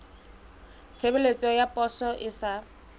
tshebeletso ya poso e sa